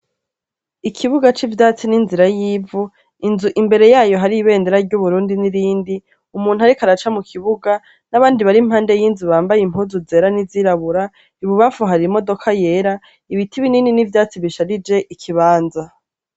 Ikibuga c'ivyatsi n'inzira yivu inzu imbere yayo hari ibenera ry'uburundi n'irindi umuntu, ariko araca mu kibuga n'abandi barimpande y'inzu bambaye impunzu zera n'izirabura ibubafu hari imodoka yera ibiti binini n'ivyatsi bisharije ikibanza.